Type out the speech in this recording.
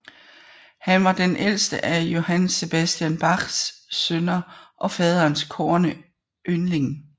Han var den ældste af Johann Sebastian Bachs sønner og faderens kårne yndling